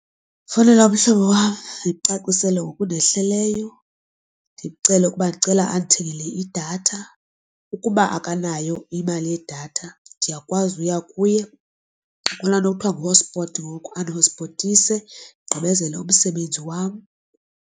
Ndingafowunela umhlobo wam ndimcacisele ngokundehleleyo ndimcele ukuba ndicela andithengele idatha. Ukuba akanayo imali yedatha ndiyakwazi uya kuye. Kukho laa nto kuthiwa ngu-hotspot ngoku, andihotspothise ndigqibezele umsebenzi wam.